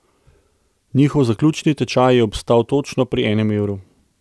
Njihov zaključni tečaj je obstal točno pri enem evru.